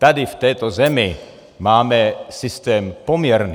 Tady v této zemi máme systém poměrný.